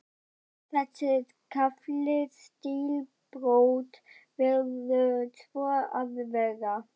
Sé þessi kafli stílbrot, verður svo að vera.